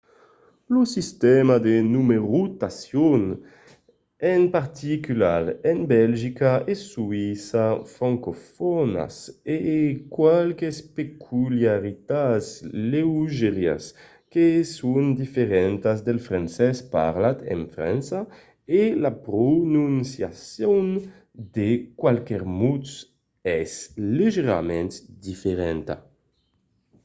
lo sistèma de numerotacion en particular en belgica e soïssa francofònas a qualques peculiaritats leugièras que son diferentas del francés parlat en frança e la prononciacion de qualques mots es leugièrament diferenta